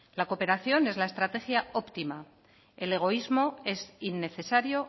la cooperación es la estrategia optima el egoísmo es innecesario